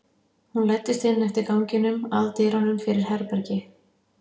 Hún læddist inn eftir ganginum, að dyrunum fyrir herbergi